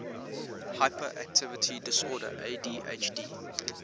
hyperactivity disorder adhd